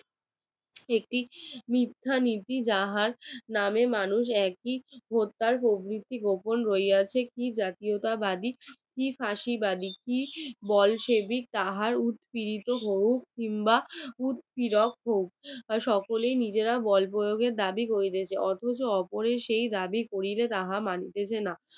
Bolshevik তাহার উৎপীড়িত কিম্বা উৎ সব সকলেই নিজেরা বল প্রয়োগে দাবি করিতেছে অথচ ওপরের সেই দাবি তাহা মানিতে চেনা